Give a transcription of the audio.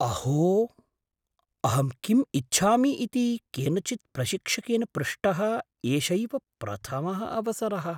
अहो! अहं किम् इच्छामि इति केनचित् प्रशिक्षकेन पृष्टः एषैव प्रथमः अवसरः।